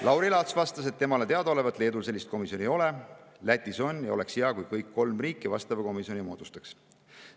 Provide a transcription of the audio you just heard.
Lauri Laats vastas, et temale teadaolevalt Leedus sellist komisjoni ei ole, Lätis aga on ja oleks hea, kui kõik kolm riiki vastava komisjoni moodustaks.